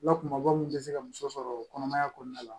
Lakumaba min tɛ se ka muso sɔrɔ kɔnɔmaya kɔnɔna la